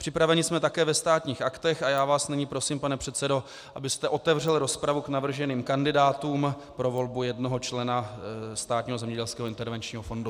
Připraveni jsme také ve Státních aktech a já vás nyní prosím, pane předsedo, abyste otevřel rozpravu k navrženým kandidátům pro volbu jednoho člena Státního zemědělského intervenčního fondu.